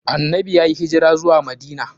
Annanbi yayi hijira zuwa Madina.